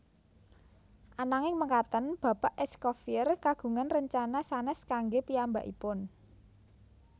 Ananging mekaten bapak Escoffier kagungan rencana sanès kanggé piyambakipun